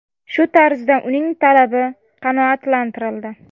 Shu tarzda uning talabi qanoatlantirildi.